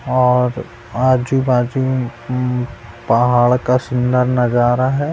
और आजू-बाजू पहाड़ का सुंदर नजारा रहा है।